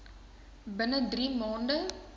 binne drie maande